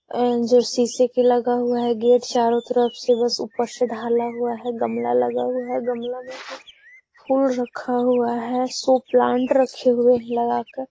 अम जो शीशे के लगा हुआ है गेट चारो तरफ से बस ऊपर से ढाला हुआ है। गमला लगा हुआ है। गमला में एक फुल रखा हुआ है। सौ प्लांट रखे हुए हैं लगाकर।